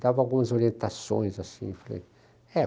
Dava algumas orientações assim, falei ''é...''